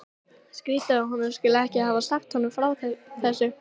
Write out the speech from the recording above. Skrýtið að hann skuli ekki hafa sagt honum frá þessu.